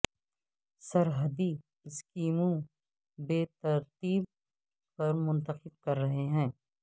سرحدی اسکیموں بے ترتیب پر منتخب کر رہے ہیں